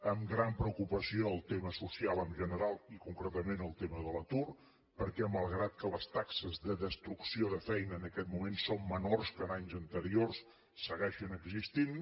amb gran preocupació el tema social en general i concretament el tema de l’atur perquè malgrat que les taxes de destrucció de feina en aquest moment són menors que en anys anteriors segueixen existint